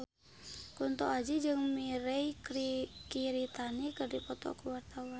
Kunto Aji jeung Mirei Kiritani keur dipoto ku wartawan